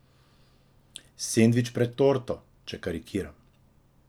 Sendvič pred torto, če karikiram.